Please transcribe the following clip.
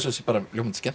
ljómandi skemmtilegt